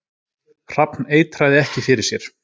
Hrafn eitraði ekki fyrir sér